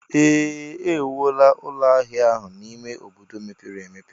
Ee! E wuola ụlọ ahịa ahụ n'ime obodo mepere emepe.